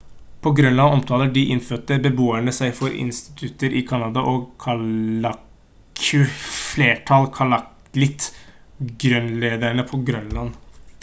på grønland omtaler de innfødte beboerne seg for inuitter i canada og kalaalleq flertall kalaallit grønlendere på grønland